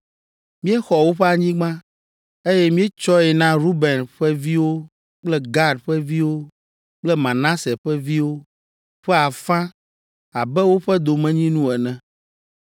míexɔ woƒe anyigba, eye míetsɔe na Ruben ƒe viwo kple Gad ƒe viwo kple Manase ƒe viwo ƒe afã abe woƒe domenyinu ene,